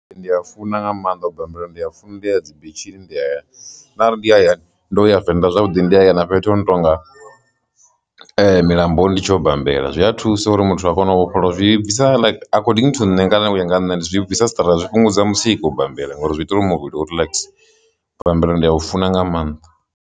Ndi a funa nga maanḓa u bambela ndi a funa ndi ya dzi bitshini nda ya arali ndi hayani ndo ya venḓa zwavhuḓi ndi haya na fhethu hu no tonga milamboni, ndi tshi u bambela zwi a a thusa uri muthu a kona u vhofholowa zwi bvisa according to nṋe kana u ya nga nṋe, ndi zwi bvisa stress zwi fhungudza mutsiko u khou bambela ngauri zwi itelwa muvhili u relaxer u bambela ndi a u funa nga maanḓa.